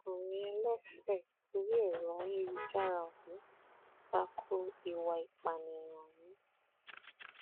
ọkùnrin ẹlẹfẹ orí ẹrọ ayélujára ọhún ta ko ìwà ìpànìyàn ọhún